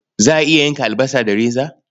Za ka iya yanka albasa da reza?